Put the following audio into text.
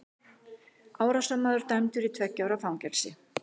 Árásarmaður dæmdur í tveggja ára fangelsi